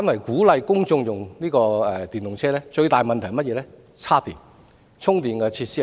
鼓勵公眾使用電動私家車的最大問題，反而在於充電設施的規劃。